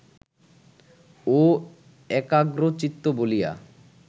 ও একাগ্রচিত্ত বলিয়া